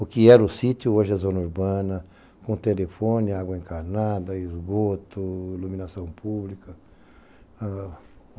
O que era o sítio, hoje é zona urbana, com telefone, água encarnada, esgoto, iluminação pública.